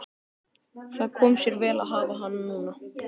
Það kom sér vel að hafa hana núna.